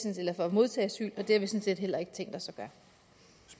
eller for at modtage asyl og det har vi sådan set heller ikke tænkt os